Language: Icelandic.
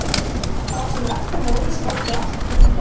Þá sem eftir voru skorti allt frumkvæði.